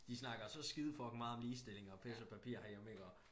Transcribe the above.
De snakker så skide fucking meget om ligestilling og pis og papir herhjemme iggå